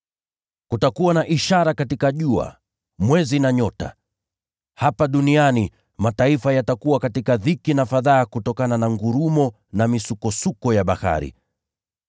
“Kutakuwa na ishara katika jua, mwezi na nyota. Hapa duniani, mataifa yatakuwa katika dhiki na fadhaa kutokana na ngurumo na misukosuko ya bahari.